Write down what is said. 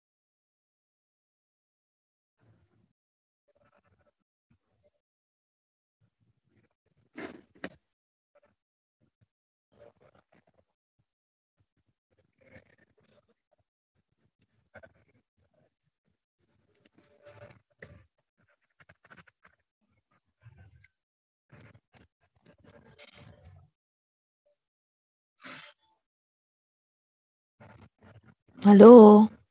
Hello